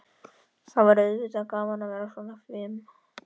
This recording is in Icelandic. Það væri auðvitað gaman að vera svona fim.